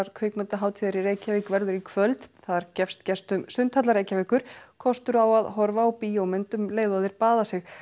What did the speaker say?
kvikmyndahátíðar í Reykjavík verður í kvöld þar gefst gestum sundhallar Reykjavíkur kostur á að horfa á bíómynd um leið og þeir baða sig